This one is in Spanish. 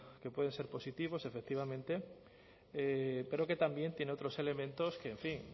que pueden ser positivos efectivamente pero que también tiene otros elementos que en fin